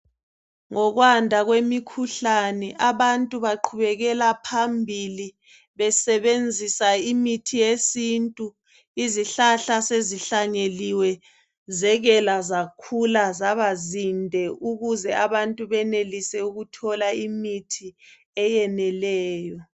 Ngokwanda kwemikhuhlane abantu baqhubekela phambili besebenzisa imithi yesintu. lzihlahla sezihlanyeliwe, zekela, zakhula, zabazinde. Ukuze abantu benelise ukuthola imithi eyeneleyo.